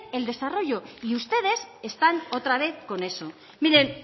el desarrollo y ustedes están otra vez con eso miren